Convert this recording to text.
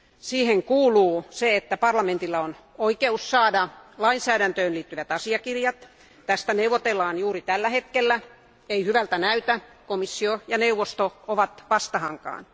Siihen kuuluu se, että parlamentilla on oikeus saada lainsäädäntöön liittyvät asiakirjat. Tästä neuvotellaan juuri tällä hetkellä eikä hyvältä näytä, sillä komissio ja neuvosto ovat vastahankaan.